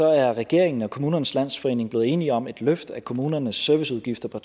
er regeringen og kommunernes landsforening blevet enige om et løft af kommunernes serviceudgifter på